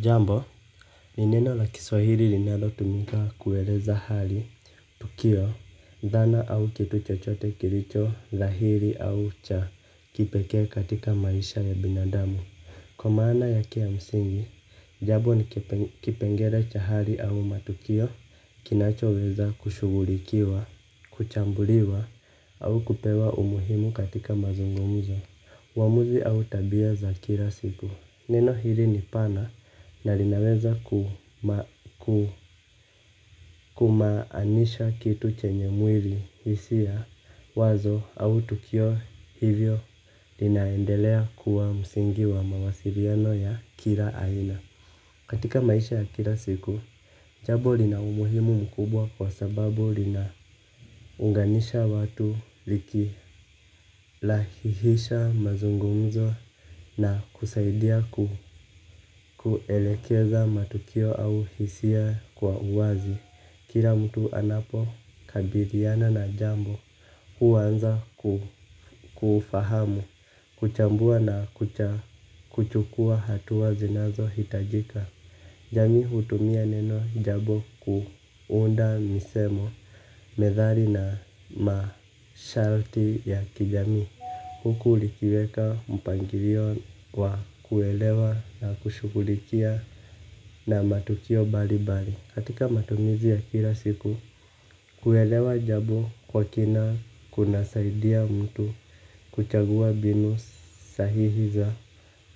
Jambo ni neno la kiswahili linalotumika kueleza hali, tukio, dhana au kitu chochote kilicho dhahiri au cha kipekee katika maisha ya binadamu. Kwa maana yake ya msingi, jambo ni kipengele cha hali au matukio. Kinachoweza kushughulikiwa, kuchambuliwa au kupewa umuhimu katika mazungumzo uamuzi au tabia za kila siku. Neno hili ni pana na linaweza kumaanisha kitu chenye mwili, hisia wazo au tukio hivyo linaendelea kuwa msingi wa mawasiliano ya kila aina. Katika maisha ya kila siku, jambo lina umuhimu mkubwa kwa sababu linaunganisha watu likirahisisha mazungumzo na kusaidia kuelekeza matukio au hisia kwa uwazi. Kila mtu anapokabiliana na jambo huanza kufahamu, kuchambua na kuchukua hatua zinazo hitajika. Jamii hutumia neno jambo kuunda misemo, methali na masharti ya kijamii. Huku likiweka mpangilio wa kuelewa na kushughulikia na matukio mbali mbali. Katika matumizi ya kila siku kuelewa jambo kwa kina kunasaidia mtu kuchagua mbinu sahihi za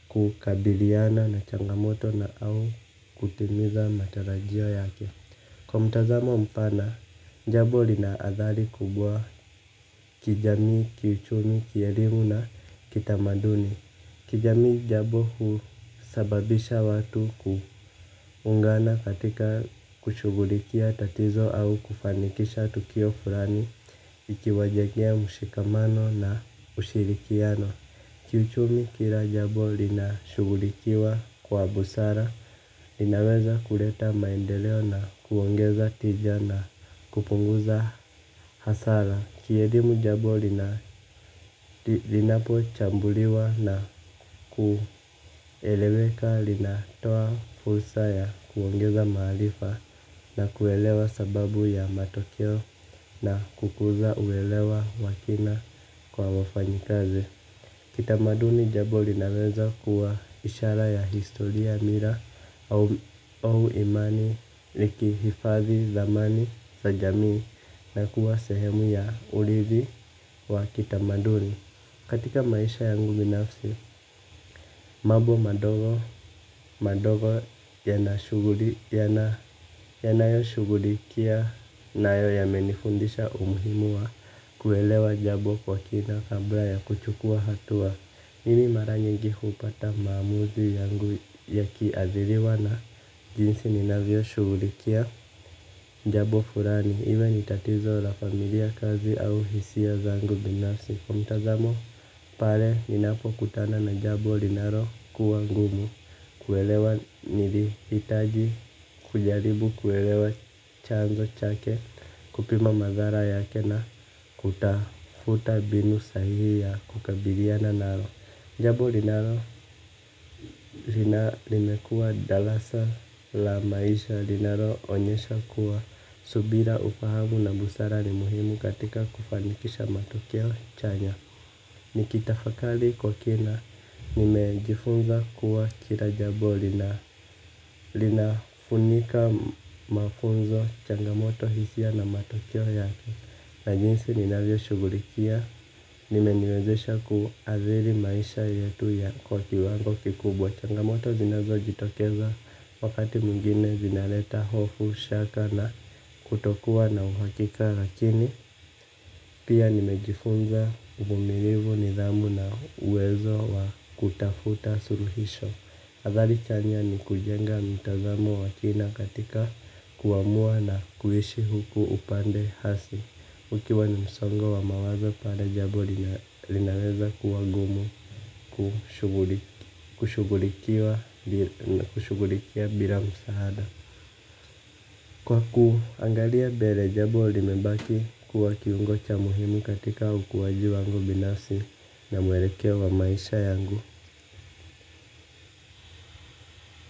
kukabiliana na changamoto na au kutimiza matarajio yake. Kwa mtazamo mpana, jambo lina athari kubwa kijamii, kiuchumi, kielimu na kitamaduni. Kijamii, jambo husababisha watu kuungana katika kushugulikia tatizo au kufanikisha tukio fulani ikiwajengea mshikamano na ushirikiano. Kiuchumi, kila jambo linashugulikiwa kwa busara. Linaweza kuleta maendeleo na khongeza tija na kupunguza hasara. Kielimu, jambo lina linapochambuliwa na kueleweka, linatoa fursa ya kuongeza maarifa na kuelewa sababu ya matokeo. Na kukuza uelewa wa kina kwa wafanyikazi. Kitamaduni, jambo linaweza kuwa ishara ya historia, mila au imani likihifadhi dhamani za jamii na kuwa sehemu ya uridhi wa kitamaduni. Katika maisha yangu binafsi, mambo madogo madogo yanayoshughulikia nayo yamenifundisha umuhimu wa kuelewa jambo kwa kina kabla ya kuchukua hatua. Mimi mara nyingi hupata maamuzi yangu ya kiadhiriwa na jinsi ninavyoshughulikia jambo fulani. Iwe ni tatizo la familia, kazi au hisia zangu binasi. Kwa mtazamo pale ninapokutana na jambo linalokuwa ngumu kuelewa nilihitaji kujaribu kuelewa chanzo chake. Kupima madhara yake na kutafuta mbinu sahihi ya kukabiliana nalo jambo limekuwa darasa la maisha linalo onyesha kuwa subira, ufahamu na busara ni muhimu katika kufanikisha matokeo chanya. Nikitafakari kukina nimejifunza kuwa kila jambo lina linafunika mafunzo, changamoto, hisia na matokeo yake na jinsi ninavyoshughulikia, limeniwezesha kuathiri maisha yetu kwa kiwango kikubwa. Changamoto zinazojitokeza wakati mwingine zinaleta hofu, shaka na kutokuwa na uhakika. Lakini pia nimejifunza uvumilivu, nidhamu na uwezo wa kutafuta suluhisho. Atgari chanya ni kujenga mitazamo wa kina katika kuamua na kuishi huku upande hasi ukiwa ni msongo wa mawazo bado jambo linaweza kuwa gumu kushugulikiwa na kushugulikia bila msaada. Kwa kuangalia mbele jambo limebaki kuwa kiungo cha muhimu katika ukuaji wangu binafsi na mwelekeo wa maisha yangu.